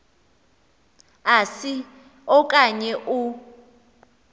asi okanye u